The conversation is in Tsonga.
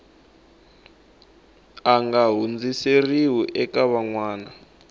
nga hundziseriwi eka van wana